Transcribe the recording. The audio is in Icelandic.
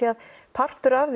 partur af